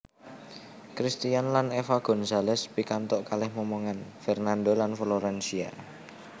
Cristian lan Eva Gonzales pikantuk kalih momongan Fernando lan Florencia